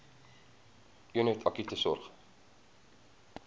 eenheid akute sorg